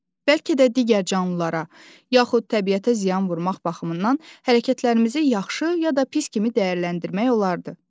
Bəlkə də digər canlılara yaxud təbiətə ziyan vurmaq baxımından hərəkətlərimizi yaxşı ya da pis kimi dəyərləndirmək olardı.